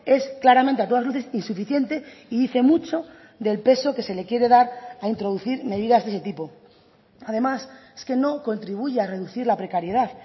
es claramente a todas luces insuficiente y dice mucho del peso que se le quiere dar a introducir medidas de ese tipo además es que no contribuye a reducir la precariedad